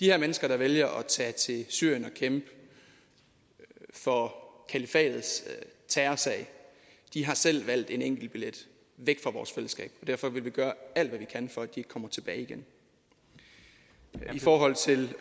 her mennesker der vælger at tage til syrien og kæmpe for kalifatets terrorsag har selv valgt en enkeltbillet væk fra vores fællesskab og derfor vil vi gøre alt hvad vi kan for at de ikke kommer tilbage igen i forhold til